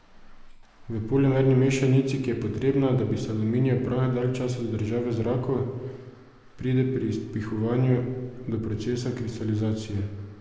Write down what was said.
V polimerni mešanici, ki je potrebna, da bi se aluminijev prah dalj časa zadržal v zraku, pride pri izpihovanju do procesa kristalizacije.